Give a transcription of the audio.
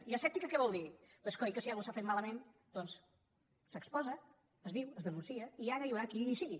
i asèptica què vol dir doncs coi que si alguna cosa s’ha fet malament doncs s’exposa es diu es denuncia i ara hi haurà qui hi sigui